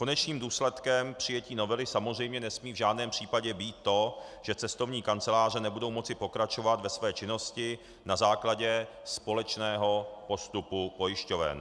Konečným důsledkem přijetí novely samozřejmě nesmí v žádném případě být to, že cestovní kanceláře nebudou moci pokračovat ve své činnosti na základě společného postupu pojišťoven.